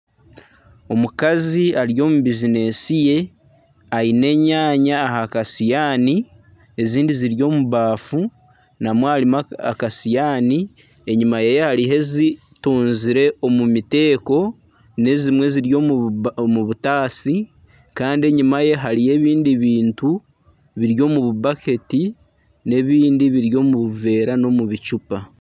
Omukazi ari omu bizineesi ye aine enyaanya aha kasihaani ezindi ziri omu baafu namwo harimu akasihaani enyuma yeye hariyo ezirunzire omu miteeko n'ezimwe ziri omu butaasa kandi enyima ye hariyo ebindi bintu biri omu bubaketi n'ebindi biri omu buveera n'omu bicupa.